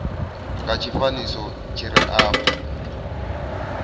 nga tshifanyiso tshi re afho